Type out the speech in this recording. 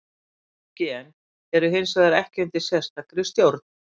Mörg gen eru hins vegar ekki undir sérstakri stjórn.